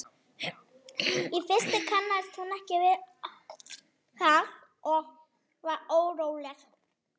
Í fyrstu kannaðist hún ekki við það og varð óróleg.